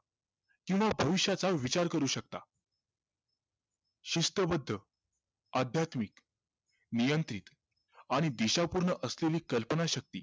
कि मग भविष्याचा विचार करू शकता शिस्तबद्ध अध्यात्मिक नियंत्रित आणि दीशापूर्ण असलेली कल्पनाशक्ती